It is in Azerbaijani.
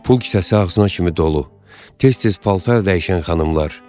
Pul kisəsi ağzına kimi dolu, tez-tez paltar dəyişən xanımlar.